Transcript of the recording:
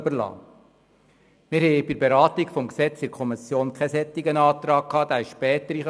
Bei der Beratung des Gesetzes in der Kommission lag kein solcher Antrag vor.